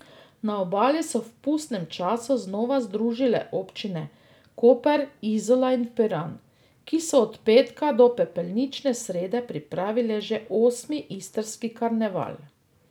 Na Obali so v pustnem času znova združile občine Koper, Izola in Piran, ki so od petka do pepelnične srede pripravile že osmi Istrski karneval.